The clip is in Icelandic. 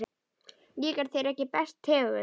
Líkar þér ekki þessi tegund?